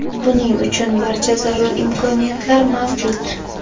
Buning uchun barcha zarur imkoniyatlar mavjud.